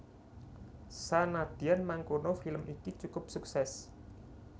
Senadyan mangkono film iki cukup suksès